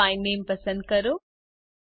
sort by નામે પસંદ કરો